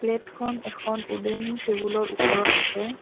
Plate খন এখন উদেন টেবুল ৰ ওপৰত আছে।